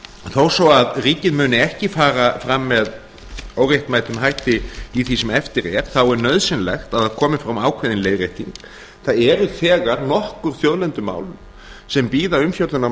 þó svo að ríkið muni ekki fara fram með óréttmætum hætti í því sem eftir er þá er nauðsynlegt að það komi fram ákveðin leiðrétting það eru þegar nokkur þjóðlendumál sem bíða umfjöllunar